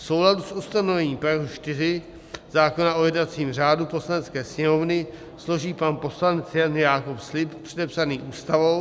V souladu s ustanovením § 4 zákona o jednacím řádu Poslanecké sněmovny složí pan poslanec Jan Jakob slib předepsaný Ústavou.